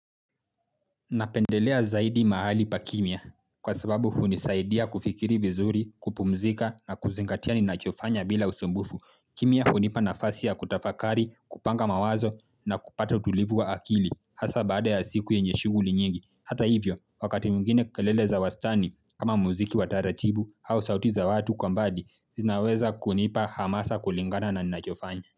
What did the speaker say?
Napendelea zaidi mahali pa kimya kwa sababu hunisaidia kufikiri vizuri kupumzika na kuzingatia ninachofanya bila usumbufu. Kimia hunipa nafasi ya kutafakari kupanga mawazo na kupata utulivu wa akili hasa baada ya siku yenye shuguli nyingi. Hata hivyo wakati mwingine kelele za wastani kama muziki watara chibu au sauti za watu kwa mbadi zinaweza kunipa hamasa kulingana na ninachofanya.